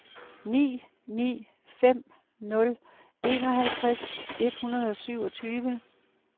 ni ni fem nul enoghalvtreds et hundrede og syvogtyve